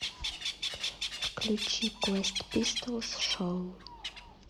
включи квест пистолс шоу